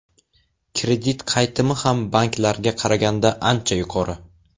Kredit qaytimi ham banklarga qaraganda ancha yuqori.